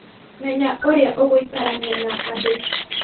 Menya ũrĩa ũgũikarania na andũ